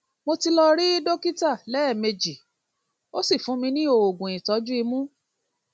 mo ti lọ rí dókítà lẹẹmejì ó sì fún ní oògùn ìtọjú imú